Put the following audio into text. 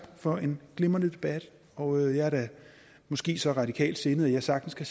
for en glimrende debat og jeg er da måske så radikalt sindet at jeg sagtens kan